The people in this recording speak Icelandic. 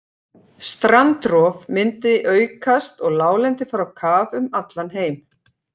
Strandrof myndi aukast og láglendi fara á kaf um allan heim.